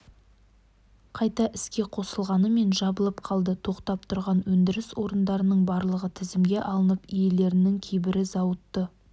қайта іске қосылғанымен жабылып қалды тоқтап тұрған өндіріс орындарының барлығы тізімге алынып иелерінің кейбірі зауытты